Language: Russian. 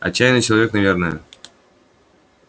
отчаянный человек наверное